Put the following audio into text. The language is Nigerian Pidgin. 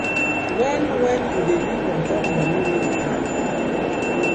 wen wen you dey live on top moni wey you plan